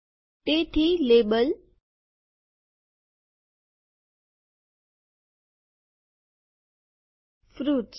તેથી label fruits